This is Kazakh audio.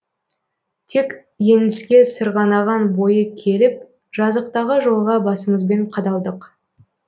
тек еңіске сырғанаған бойы келіп жазықтағы жолға басымызбен қадалдық